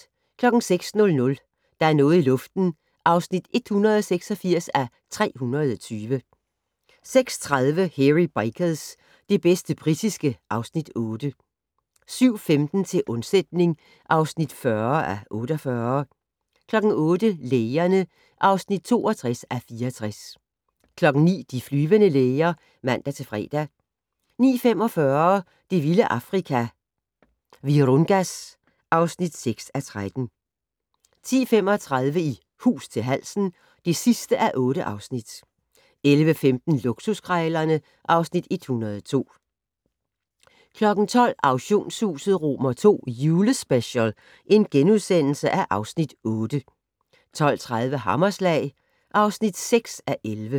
06:00: Der er noget i luften (186:320) 06:30: Hairy Bikers - det bedste britiske (Afs. 8) 07:15: Til undsætning (40:48) 08:00: Lægerne (62:64) 09:00: De flyvende læger (man-fre) 09:45: Det vilde Afrika - Virungas (6:13) 10:35: I hus til halsen (8:8) 11:15: Luksuskrejlerne (Afs. 102) 12:00: Auktionshuset II Julespecial (Afs. 8)* 12:30: Hammerslag (6:11)